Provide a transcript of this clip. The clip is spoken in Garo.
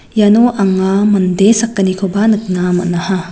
iano anga mande sakgnikoba nikna man·aha.